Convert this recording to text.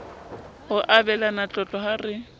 ho abelana tlotlo ha re